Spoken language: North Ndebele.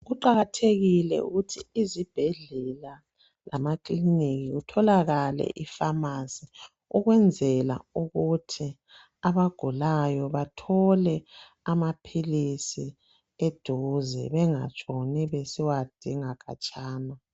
Kuqakathekile ukuthi izibhedlela lama clinic kutholakale ama pharmacy ukwenzela ukuthi abagulayo bathole amaphilisi eduze bengatshoni besiyawadinga khatshana.